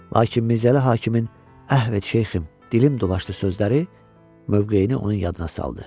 Lakin Mirzəli hakimin "Əhv et şeyxim, dilim dolaşdı" sözləri mövqeyini onun yadına saldı.